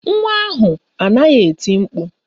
Nwa ahụ anaghị eti mkpu